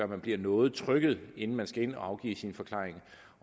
man bliver noget trykket inden man skal ind og afgive sin forklaring